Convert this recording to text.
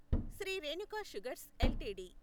Shri Renuka sugars LTD